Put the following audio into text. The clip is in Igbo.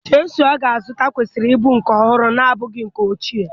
Chịsụlụ ọ ga-azụta kwesịrị ịbụ nke ọhụrụ na-abụghị nke ochie.